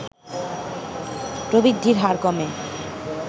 প্রবৃদ্ধির হার কমে